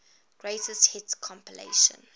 greatest hits compilation